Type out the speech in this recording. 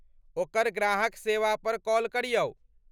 ओकर ग्राहक सेवा पर कॉल करियौ।